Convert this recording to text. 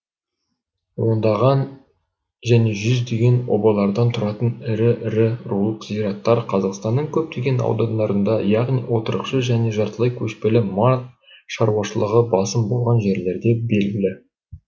ондаған және жүздеген обалардан тұратын ірі ірі рулық зираттар қазақстанның көптеген аудандарында яғни отырықшы және жартылай кешпелі мал шаруашылығы басым болған жерлерде белгілі